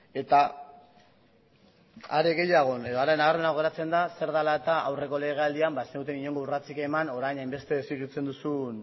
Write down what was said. eta are gehiago edo are nabarmenago geratzen da zer dala eta aurreko legealdian ba ez zenuten inongo urratsik eman orain hainbeste exigitzen duzun